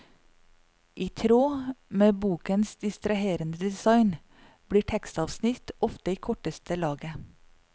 I tråd med bokens distraherende design blir tekstavsnitt ofte i korteste laget.